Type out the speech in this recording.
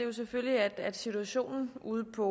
er selvfølgelig at situationen ude på